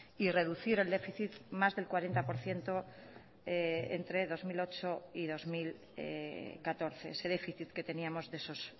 y reducir el déficit más del cuarenta por ciento entre dos mil ocho y dos mil catorce ese déficit que teníamos de esos